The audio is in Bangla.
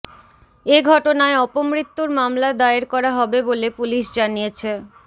এ ঘটনায় অপমৃত্যুর মামলা দায়ের করা হবে বলে পুলিশ জানিয়েছে